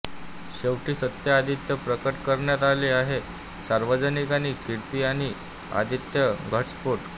शेवटी सत्य आदित्य प्रकट करण्यात आले आहे सार्वजनिक आणि कीर्ती आणि आदित्य घटस्फोट